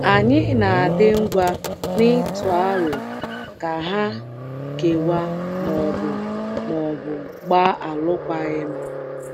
Ànyị na - adị ngwa n’ịtụ aro ka ha kewaa ma ọ bụ ma ọ bụ gbaa alụkwaghịm?